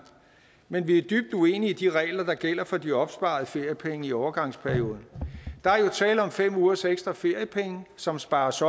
men vi er dybt uenige i de regler der gælder for de opsparede feriepenge i overgangsperioden der er jo tale om fem ugers ekstra feriepenge som spares